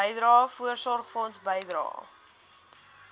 bydrae voorsorgfonds bydrae